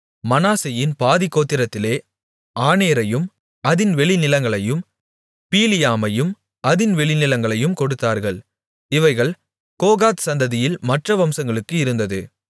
மனாசேயின் பாதிக்கோத்திரத்திலே ஆனேரையும் அதின் வெளிநிலங்களையும் பீலியாமையும் அதின் வெளிநிலங்களையும் கொடுத்தார்கள் இவைகள் கோகாத் சந்ததியில் மற்ற வம்சங்களுக்கு இருந்தது